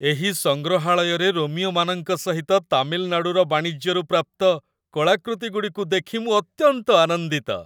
ଏହି ସଂଗ୍ରହାଳୟରେ ରୋମୀୟମାନଙ୍କ ସହିତ ତାମିଲନାଡ଼ୁର ବାଣିଜ୍ୟରୁ ପ୍ରାପ୍ତ କଳାକୃତି ଗୁଡ଼ିକୁ ଦେଖି ମୁଁ ଅତ୍ୟନ୍ତ ଆନନ୍ଦିତ।